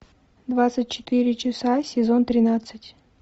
двадцать четыре часа сезон тринадцать